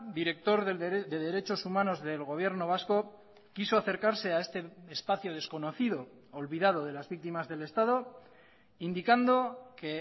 director de derechos humanos del gobierno vasco quiso acercarse a este espacio desconocido olvidado de las víctimas del estado indicando que